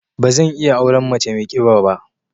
Ba zan iya auren mace mai kiba ba.